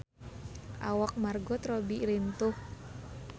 Awak Margot Robbie lintuh